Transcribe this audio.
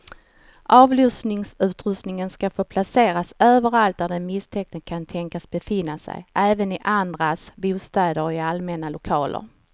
Avlyssningsutrustning ska få placeras överallt där den misstänkte kan tänkas befinna sig, även i andras bostäder och i allmänna lokaler.